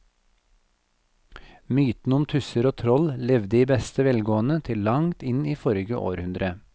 Mytene om tusser og troll levde i beste velgående til langt inn i forrige århundre.